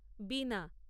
বীণা